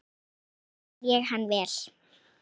Mikið skil ég hann vel.